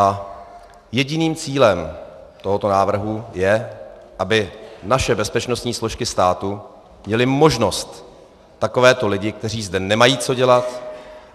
A jediným cílem tohoto návrhu je, aby naše bezpečnostní složky státu měly možnost takovéto lidi, kteří zde nemají co dělat